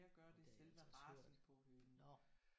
Det har jeg altså også hørt